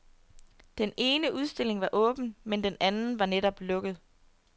Den ene udstilling var åben, men den anden var netop lukket.